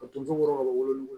Ka t'u jɔ wɔrɔn ka bɔ wolo